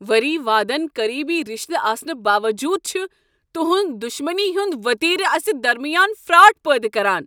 ؤری وادن قریبی رِشتہٕ آسنہٕ باووٚجوٗد چھٖ تہنٛد دشمنی ہنٛد وتیرٕ اسہ درمیان فراٹ پٲدٕ کران۔